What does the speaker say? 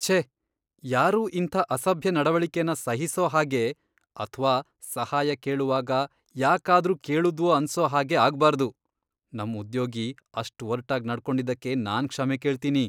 ಛೇ! ಯಾರೂ ಇಂಥ ಅಸಭ್ಯ ನಡವಳಿಕೆನ ಸಹಿಸೋ ಹಾಗೆ ಅಥ್ವಾ ಸಹಾಯ ಕೇಳುವಾಗ ಯಾಕಾದ್ರೂ ಕೇಳುದ್ವೋ ಅನ್ಸೋ ಹಾಗೆ ಆಗ್ಬಾರ್ದು. ನಮ್ ಉದ್ಯೋಗಿ ಅಷ್ಟ್ ಒರ್ಟಾಗ್ ನಡ್ಕೊಂಡಿದ್ದಕ್ಕೆ ನಾನ್ ಕ್ಷಮೆ ಕೇಳ್ತೀನಿ.